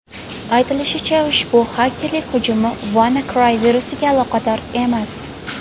Aytilishicha, ushbu xakerlik hujumi WannaCry virusiga aloqador emas.